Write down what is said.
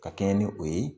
Ka kɛɲɛ ni o ye